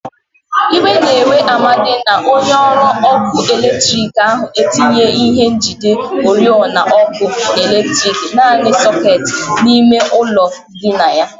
Iwe na-ewe Amadi na onye ọrụ ọkụ eletriki ahụ etinyeghi ihe njide ọrịọna ọkụ eletriki, nani sọketi, n'ime ulo ndina ya.